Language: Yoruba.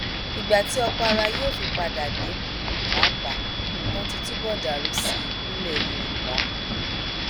ìgbà tí òkpara yóò fi padà dé pàápàá nǹkan ti túbọ dàrú sí i nílẹ yorùbá